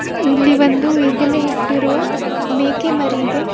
ಇಲ್ಲಿ ಒಂದು ಈಗಲೇ ಹುಟ್ಟಿರುವ ಮೇಕೆ ಮರಿದೆ.